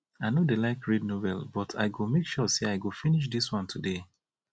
i no dey like read novel but i go make sure say i go finish dis one today